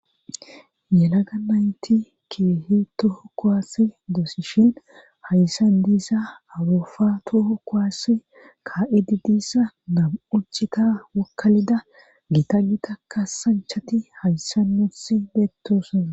Yelaga nayti keehi toho kowaassi doosishin hayssan diisa awofa toho kowaase ka'edi diissa nabu'uccika wokkalida gita gita kasanchati hayssa notsi beettoosana